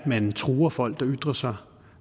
man truer folk der ytrer sig